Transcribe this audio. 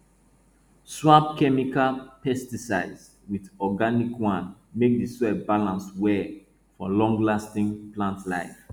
swap chemical pesticide with organic one make di soil balance well for longlasting plant life